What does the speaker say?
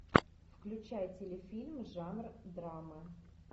включай телефильм жанр драма